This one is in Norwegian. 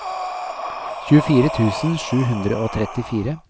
tjuefire tusen sju hundre og trettifire